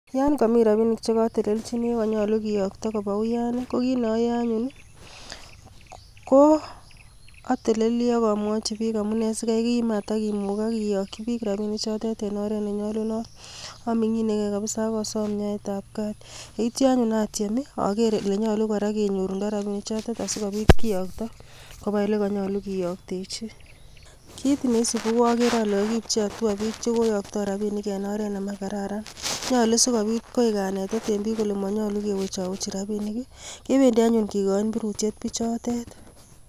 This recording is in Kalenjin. Yon komii rabinik chekotelelchini oko konyolu kiyookto kobaa uyaan i.Ko kit neoyoe anyun I,ko atelelii ak amwochii bik amine sikaikmatakomugaak kiyookyii bik rabinichotet, en oret nenyolunot, Aminginegei kabisa ak asom nyoetab gaat, yeityoo anyun atyeem ager oleimuch kenyorundoo rabinik chotet asikobiit kiyooktoo kobaa olekonyolu kiyoktechii. Kit neisibu ko agere ale kokiipchi hatua biik chekoiyoktoi rabinik en oret nemakararan, nyolu sikoibit koik kanetet en bik kole monyolu ewech awech rabinik I,kibendii anyun kikochin birutiet bichotet